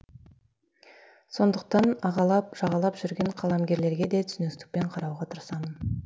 сондықтан ағалап жағалап жүрген қаламгерлерге де түсіністікпен қарауға тырысамын